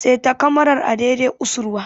Seta kamarar a dai dai usurwa!